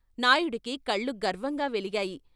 నాయుడికి కళ్ళు గర్వంగా వెలిగాయి.